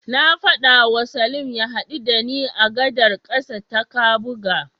Na faɗawa Salim ya haɗu da ni a gadar ƙasa ta Kabuga.